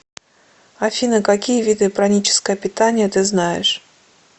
афина какие виды праническое питание ты знаешь